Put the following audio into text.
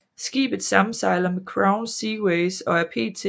Skibet samsejler med Crown Seaways og er pt